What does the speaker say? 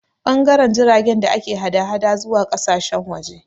Ɓangaren jiragen da ke hada-hada zuwa ƙasashen waje